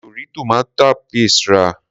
Mi ò rí tomato paste rà.